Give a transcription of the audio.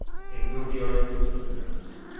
Endi uni yoyib qo‘yib sotaveramiz.